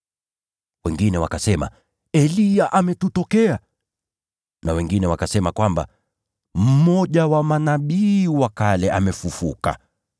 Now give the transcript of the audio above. Wengine wakasema Eliya amewatokea, na wengine wakasema kwamba mmoja wa manabii wa kale amefufuka.